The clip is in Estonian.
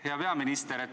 Hea peaminister!